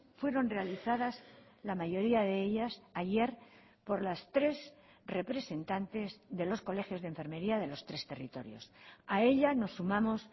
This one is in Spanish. fueron realizadas la mayoría de ellas ayer por las tres representantes de los colegios de enfermería de los tres territorios a ella nos sumamos